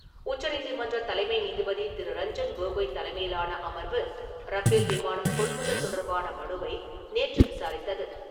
உச்சநீதிமன்ற தலைமை நீதிபதி திரு. ரஞ்சன் கோகோய் தலைமையிலான அமர்வு ரஃபேல் விமானம் கொள்முதல் தொடர்பான மனுவை நேற்று விசாரித்தது.